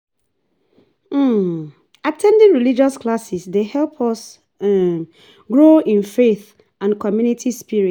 um At ten ding religious classes dey help us um grow in faith and community spirit.